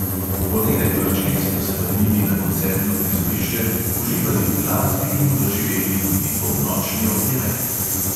Po nekaj vrčkih sta se vrnili na koncertno prizorišče, uživali v glasbi in doživeli tudi polnočni ognjemet.